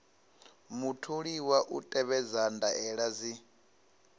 mutholiwa u tevhedza ndaela dzi